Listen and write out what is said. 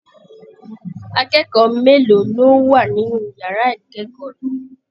Akẹ́kọ̀ọ́ mélòó ló wà nínú yàrá ikẹkọọ rẹ?